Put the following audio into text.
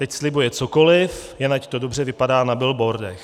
Teď slibuje cokoliv, jen ať to dobře vypadá na billboardech.